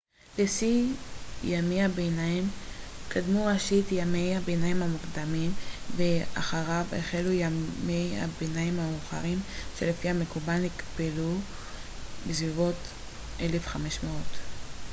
לשיא ימי הביניים קדמו ראשית ימי הביניים המוקדמים ואחריו החלו ימי הביניים המאוחרים שלפי המקובל נגמרו בסביבות 1500